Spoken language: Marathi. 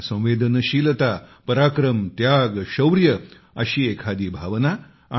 करुणा संवेदनशीलता पराक्रम शौर्य अशी एखादी भावना